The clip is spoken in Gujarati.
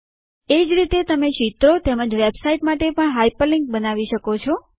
એ જ રીતે તમે ચિત્રો તેમજ વેબસાઇટ્સ માટે પણ હાઇપરલિન્ક્સ બનાવી શકો છો